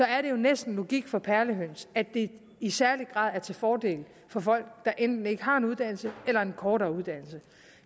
er det næsten logik for perlehøns at det i særlig grad er til fordel for folk der enten ikke har en uddannelse eller har en kortere uddannelse